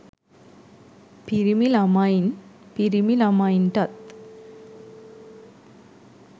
පිරිමි ළමයින් පිරිමි ළමයින්ටත්